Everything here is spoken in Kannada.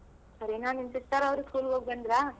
ಸರಿ ನಾ ನಿನ್ sister ಅವ್ರು school ಗ್ ಹೋಗ್ಬಂದ್ರ.